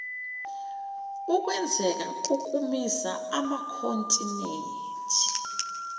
ukwenzeka kokumisa amakhontinethi